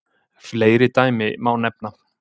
Fleiri dæmi má nefna.